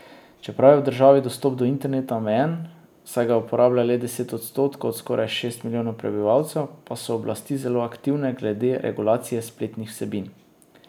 Čeprav je v državi dostop do interneta omejen, saj ga uporablja le deset odstotkov od skoraj šest milijonov prebivalcev, pa so oblasti zelo aktivne glede regulacije spletnih vsebin.